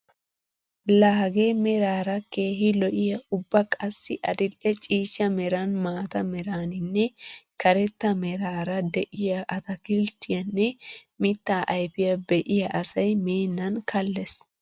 La hagee meraara keehi lo"iyaa ubba qassi adil'e ciishsha meran, maata meraninne karetta meraara de'iyaa atakilittiyaanne mittaa ayfiyaa be'iyaa asay meennan kallees!